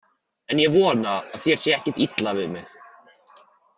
En ég vona að þér sé ekkert illa við mig.